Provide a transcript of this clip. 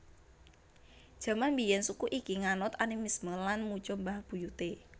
Jaman biyen suku iki nganut animisme lan muja mbah buyute